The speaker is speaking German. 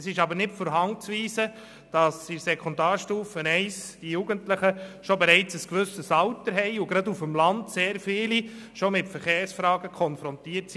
Es ist jedoch nicht von der Hand zu weisen, dass die Jugendlichen in der Sekundarstufe I bereits ein gewisses Alter haben und dass gerade auf dem Land sehr viele schon mit Verkehrsfragen konfrontiert sind.